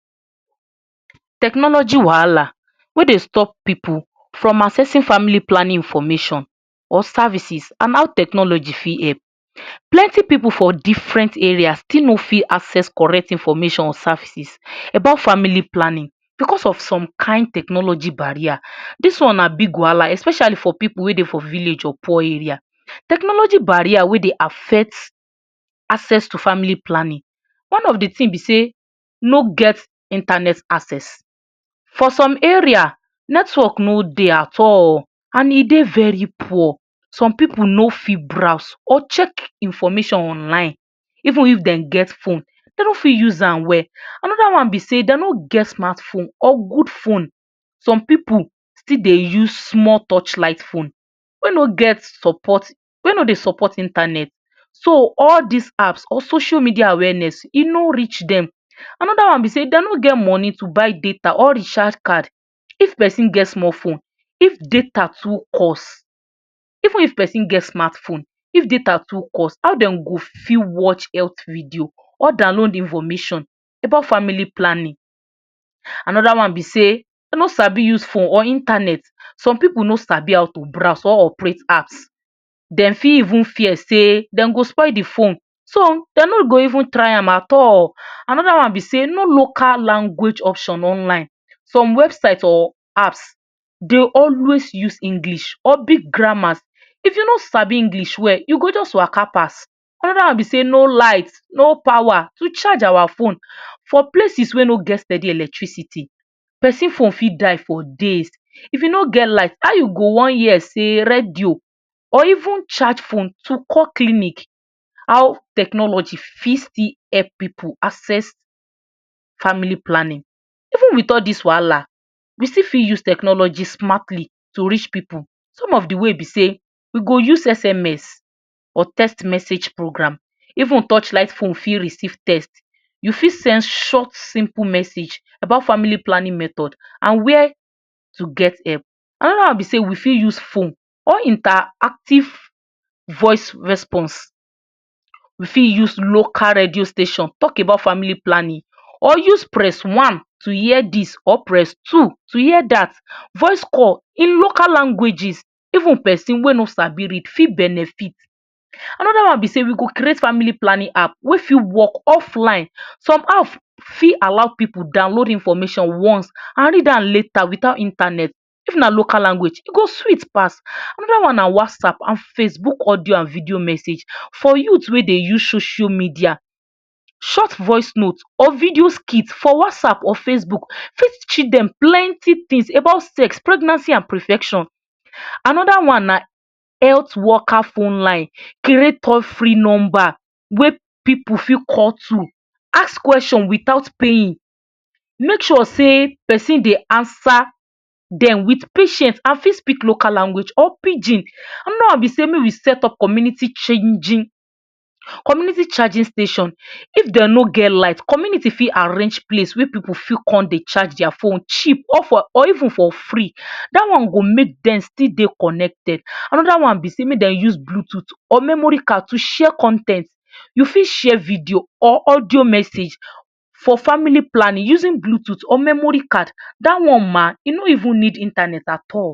Technology wahala wey dey stop pipu from accessing family planning information or services and how technology fit help. Plenty pipu for different area still no fit access correct information or services about family planning because some kin technology barrier this one na big wahala especially for pipu wey dey village or poor area. Technology barrier wey dey affect access to family planning one of the thing be sey no get internet access for some area network no dey at all and e dey very poor, some pipu no fit browse or check information online even if dem get phone dem no fit use amm well. another be sey dem no get smart phone or good phone some pipu still dey use small torchlight phone wey no get support wey no dey support internet So all these apps or social media awareness e no reach dem. Another be sey dem no get money to buy data or recharge card if person get small phone if data too cost even if person get smart phone if data too cost how dem go fit watch health video or download information about family planning. Another be sey dem no sabi use phone or internet some pipu no sabi how to browse or operate app dem fit even fear sey dem go spoil the phone so then no go even try amm at all. Another one be sey no local language option online some website or apps dey always use English or big grammars if you no sabi use well you go just waka pass. Another one be sey no light no power to charge our phone for places wey no get steady electricity person phone fit die for days if you no get light how you go wan hear sey radio or even charge phone to call clinic. How technology fit still help pipu access. Family planning even with all this wahala we fit still use technology smartly to reach pipu some of the way be sey we go use sms or text message program even torchlight phone fit receive text you fit send short simple message about family planning method and where to get help. Another one be sey we fit use phone or interactive voice response we fit use local radio station talk about family planning or use press one to hear this or press two to hear that voice call in local languages even person wey no sabi read go fit benefit. Another one be sey we go create family planning app wey fit work offline, some app fit allow pipu download information once and read amm later without Internet if na local language e go sweet pass. Another one na Whatsapp and Facebook audio and video message for youth wey dey use social media, short voice note or video skit for Whatsapp or Facebook fit teach dem plenty things about sex, pregnancy and protection. Another one na health worker phone line create all free number wey pipu fit call through ask question without paying make sure sey person dey answer dem with patient and fit speak local language or pigin. Another one be sey make we set up community changing community charging station if dem no get light community fit arrange place wey pipu fit come dey charge their phone cheap or even for free that one go make dem still dey connected. Make them use Bluetooth or memory card to share con ten t, You fit share video or audio message for family planning using Bluetooth or memory card that one ma you no even need internet at all.